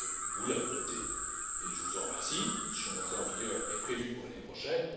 vous l'avez votée et je vous en remercie. Son entrée en vigueur est prévue pour l'année prochaine.